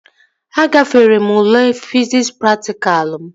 Agafere m ule fiziks praktikalụ m